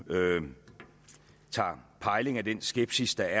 tager pejling af den skepsis der